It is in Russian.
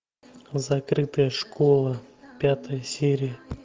закрытая школа пятая серия